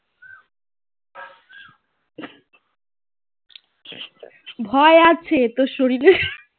ভয় আছে তো শরীরে